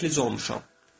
Mən iflic olmuşam.